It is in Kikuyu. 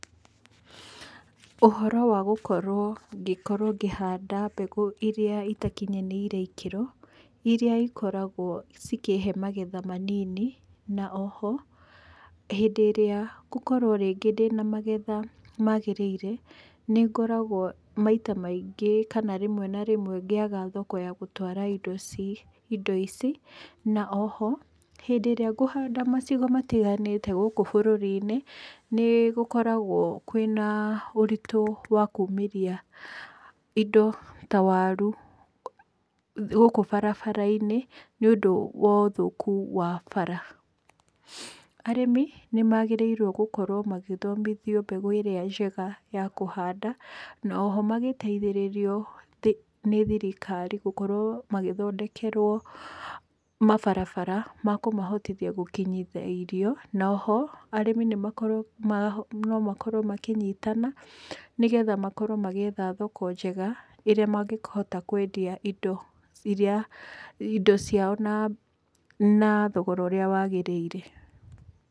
Ũhoro wa gũkorwo ngĩkorwo ngĩhanda mbegũ irĩa itakinyanĩire ikĩro, irĩa ikoragwo cikĩhe magetha manini na oho hĩndĩ ĩrĩa ngũkorwo rĩngĩ ndĩna magetha magĩrĩire nĩngoragũo maita maingĩ kana rĩmwe na rĩmwe ngĩaga thoko ya gũtwara indo ici indo ici, na oho hĩndĩ ĩrĩa ngũhanda macigo matiganĩte gũkũ bũrũri-inĩ nĩgũkoragwo kwĩna ũritũ wa kũmĩria indo ta warũ gũkũ barabara-inĩ nĩ ũndũ wa ũthũkũ wa bara. Arĩmi nĩ magĩrĩirwo gũkorwo magĩthomithio mbegũ ĩrĩa njega ya kũhanda na oho magĩteithĩrĩrio nĩ thirikari gũkorwo magĩthondekerwo mabarabara ma kũmahotithia gũkinyithia irio, na oho arĩmi nĩ makorwo no makorwo makĩnyitana, nĩgetha makorwo magĩetha thoko njega ĩrĩa mangĩhota kwendia indo irĩa indo ciao na thogora ũrĩa wagĩrĩire.